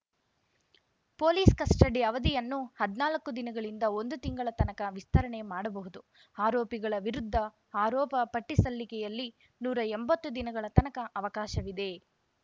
police custody ಅವಧಿಯನ್ನು ಹದ್ನಾಲ್ಕು ದಿನಗಳಿಂದ ಒಂದು ತಿಂಗಳ ತನಕ ವಿಸ್ತರಣೆ ಮಾಡಬಹುದು ಆರೋಪಿಗಳ ವಿರುದ್ಧ ಆರೋಪ ಪಟ್ಟಿಸಲ್ಲಿಕೆಯಲ್ಲಿ ನೂರಾ ಎಂಬತ್ತು ದಿನಗಳ ತನಕ ಅವಕಾಶವಿದೆ